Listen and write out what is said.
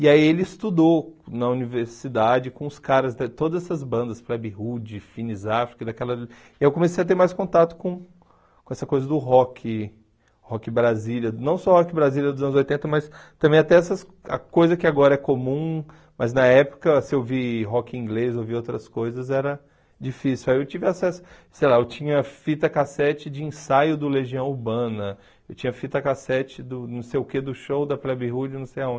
e aí ele estudou na universidade com os caras de todas as bandas, Fleb Hood, Phineas Africa, daquelas eu comecei a ter mais contato com com essa coisa do rock, rock Brasília, não só rock Brasília dos anos oitenta, mas também até essas ah coisas que agora é comum, mas na época se ouvir rock inglês, ouvir outras coisas era difícil, aí eu tive acesso, sei lá, eu tinha fita cassete de ensaio do Legião Urbana, eu tinha fita cassete do não sei o que do show da Fleb Hood, não sei aonde,